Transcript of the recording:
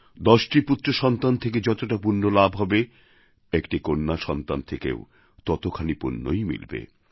দশটি পুত্রসন্তান থেকে যতটা পুণ্য লাভ হবে একটি কন্যা সন্তান থেকেও ততখানি পুণ্যই মিলবে